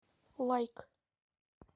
лайк